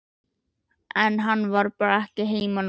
En hann var bara ekki heima núna.